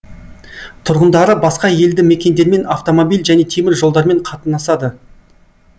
тұрғындары басқа елді мекендермен автомобиль және темір жолдармен қатынасады